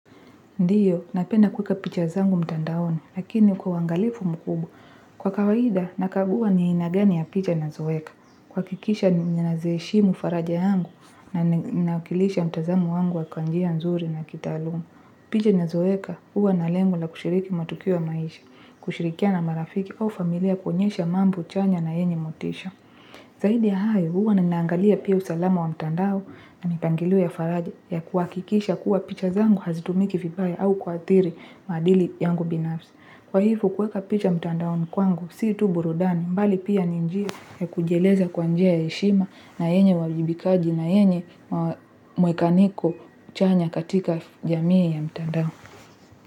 Ndiyo, napenda kueka picha zangu mtandaoni, lakini kwa uangalifu mkubu. Kwa kawaida, nakagua ni aina gani ya picha nazoweka. Kuakikisha ninazieshimu faraja yangu na nakilisha mtazamo wangu wa kwa njia nzuri na kitaalumu. Picha nazoweka, huwa na lengo la kushiriki matukio ya maisha, kushirikia na marafiki au familia kuonyesha mambo chanya na yenye motisha. Zaidi ya hayo huwa ninaangalia pia usalama wa mtandao na mipangilio ya faraja ya kuwakikisha kuwa picha zangu hazitumiki vibaya au kuathiri maadili yangu binafsi. Kwa hivo kuweka picha mtandaoni kwangu si tu burudani bali pia ni njia ya kujieleza kwa njia ya heshima na yenye uwajibikaji na yenye mwekaniko chanya katika jamii ya mtandao.